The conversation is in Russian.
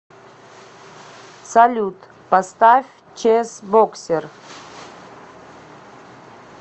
салют поставь чесбоксер